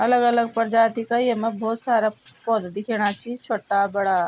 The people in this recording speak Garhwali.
अलग अलग प्रजाति का येमा भौत सारा पौधा दिख्येणा छि छवट्टा बडा ।